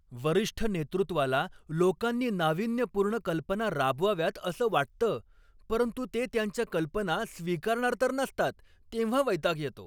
वरिष्ठ नेतृत्वाला लोकांनी नाविन्यपूर्ण कल्पना राबवाव्यात असं वाटतं परंतु ते त्यांच्या कल्पना स्वीकारणार तर नसतात तेव्हा वैताग येतो.